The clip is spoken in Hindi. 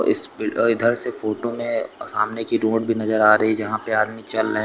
इस बिल और इधर से फोटो में सामने की रोड भी नजर आ रही है जहां पे आदमी चल रहे--